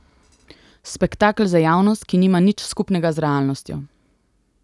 Spektakel za javnost, ki nima nič skupnega z realnostjo.